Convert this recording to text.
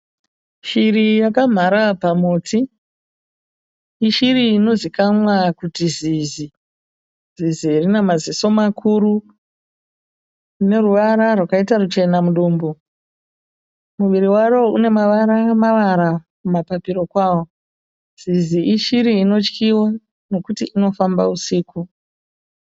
Shiri yakamhara pamuti. Ishiri inozivikanwa kuti zizi. Zizi rina maziso makuru , rine ruvara rwakaita ruchena mudumbu . Muviri waro une mavara mavara kumapapiro kwayo. Zizi ishiri inotyiwa nekuti inofamba usiku.